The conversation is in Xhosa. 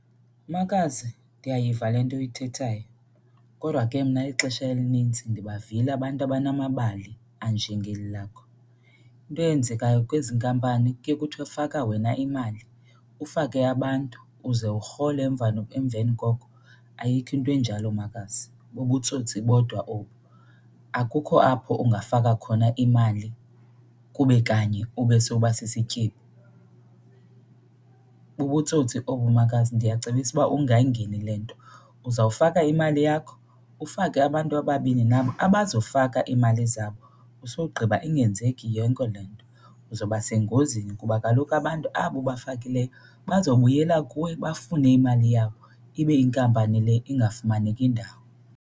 Makazi, ndiyayiva le nto uyithethayo kodwa ke mna ixesha elinintsi ndibavile abantu abanamabali anjengeli lakho. Into eyenzekayo kwezi nkampani kuye kuthiwe faka wena imali, ufake abantu, uze urhole emveni koko. Ayikho into enjalo makazi. bubutsotsi bodwa obo. Akukho apho ungafaka khona imali kube kanye ube sowuba sisityebi. Bubutsotsi obo makazi, ndiyacebisa uba ungayingeni le nto. Uzawufaka imali yakho, ufake abantu ababini nabo abazofaka iimali zabo usogqiba ingenzeki yonke le nto. Uzawuba sengozini kuba kaloku abantu abo ubafakileyo bazawubuyela kuwe bafune imali yabo ibe inkampani le ingafumaneki ndawo.